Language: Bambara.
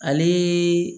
Ale